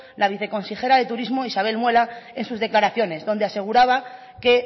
la viceconsejera de turismo isabel muela en sus declaraciones donde aseguraba que